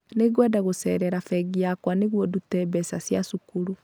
Nĩngwenda gũceerera bengi yakwa nĩguo ndute mbeca cia cukuru